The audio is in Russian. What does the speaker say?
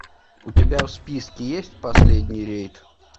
у тебя в списке есть последний рейд